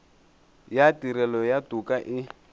ya tirelo ya toka e